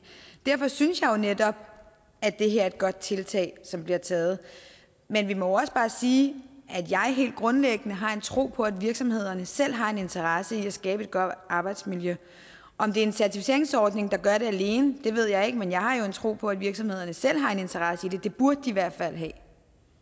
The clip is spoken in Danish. derfor synes jeg jo netop at det er et godt tiltag som bliver taget men vi må også bare sige at jeg helt grundlæggende har en tro på at virksomhederne selv har en interesse i at skabe et godt arbejdsmiljø om det er en certificeringsordning der gør det alene ved jeg ikke men jeg har jo en tro på at virksomhederne selv har en interesse i det det burde de i hvert fald have